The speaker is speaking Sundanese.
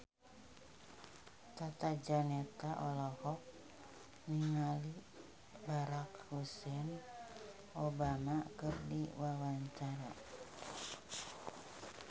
Tata Janeta olohok ningali Barack Hussein Obama keur diwawancara